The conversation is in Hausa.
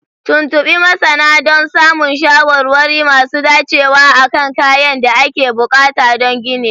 Tuntuɓi masana don samun shawarwari masu dacewa akan kayan da ake buƙata don ginin